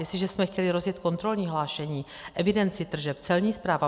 Jestliže jsme chtěli rozjet kontrolní hlášení, evidenci tržeb, Celní správu.